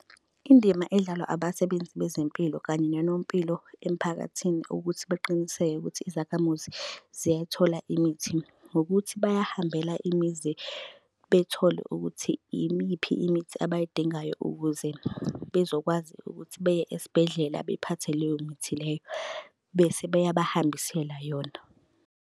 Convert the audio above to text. Indima edlalwa abasebenzi bezempilo kanye nonompilo emphakathini ukuthi beqiniseke ukuthi izakhamuzi ziyayithola imithi. Ngokuthi bayahambela imizi bethole ukuthi imiphi imithi abayidingayo ukuze bezokwazi ukuthi beye esibhedlela bephathe leyo mithi leyo, bese beyabahambisela yona.